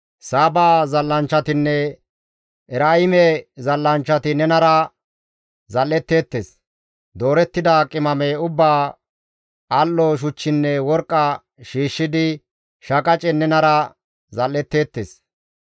«Saaba zal7anchchatinne Eraa7ime zal7anchchati nenara zal7etteettes; doorettida qimame ubbaa, al7o shuchchinne worqqa shiishshidi shaqacen nenara zal7etteettes.